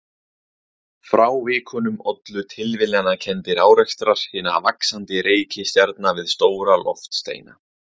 Frávikunum ollu tilviljanakenndir árekstrar hinna vaxandi reikistjarna við stóra loftsteina.